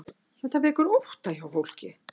Þetta vekur ótta hjá fólki